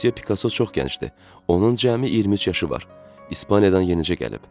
Müsyo Pikaso çox gəncdir, onun cəmi 23 yaşı var, İspaniyadan yenicə gəlib.